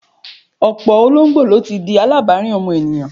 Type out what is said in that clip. Ọ̀pọ̀ ológbò ni ó ti di alábàárìn ọmọ ènìyàn.